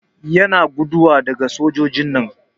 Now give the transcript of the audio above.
Yana guduwa daga soja'n nan.